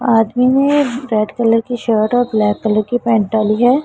आदमी ने red colour की शर्ट और ब्लैक कलर की पैंट डाली है।